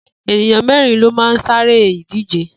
Ènìyàn mé̩rin ló máa ń sá eré ìdíje